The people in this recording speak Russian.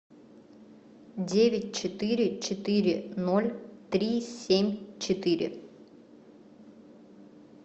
девять четыре четыре ноль три семь четыре